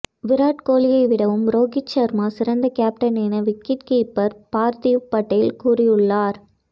விராட் கோலியை விடவும் ரோஹித் சர்மா சிறந்த கேப்டன் என விக்கெட் கீப்பர் பார்தீவ் படேல் கூறியுள்ளார்